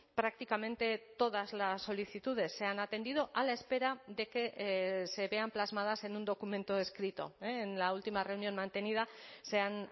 prácticamente todas las solicitudes se han atendido a la espera de que se vean plasmadas en un documento escrito en la última reunión mantenida se han